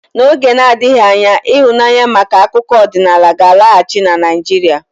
N'oge na-adịghị anya ịhụnanya maka akụkọ ọdịnala ga-alọghachi na Naijiria.